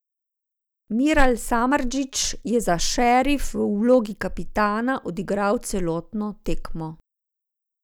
Miral Samardžić je za Šerif v vlogi kapetana odigral celotno tekmo.